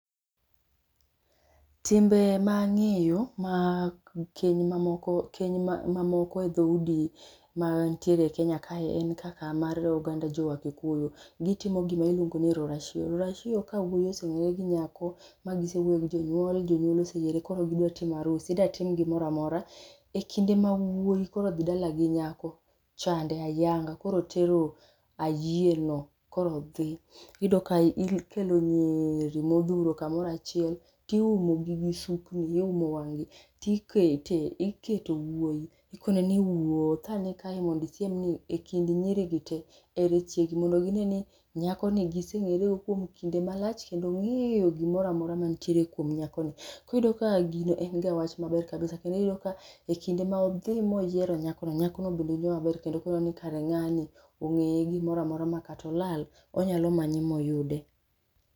Timbe ma ang'eyo, mag Keny ma moko keny mamoko e dhoudi mantiere e Kenya kae en kaka oganda jo Wakikuyu, gitimo gima iluongo ni Rorasio, rorasio ka wuoyi osewuoyo gi nyako mma gise wuoyo gi jonyuol, ma jonyuol osee yiere koro gidwa timo arus, idwa ztim gimoro amora. Ekinde ma wuoyi koro odhi dala gi nyako chande ayanga, koro otero ayieno, koro odhi. Iyudo ka ikelo nyiri modhuro kamoro achiel, tiumogi gi sukni, iumo wang' gi tiketo wuoyi ni wuothane ekind nyirigi tee, ere chiegi. Mondo gine ni nyakoni gise ng'ere go ekinde malach kendo ong'eyo gimoro amora mantiere kuom nyakoni. Koro iyudoga ka gino en wach maber kabisa. Iyudo ka kinde modhi moyiero nyakono, nyakono bende winjo maber no kara ng'ani ong'eye gimoro amora makata olal onyalo manye moyude.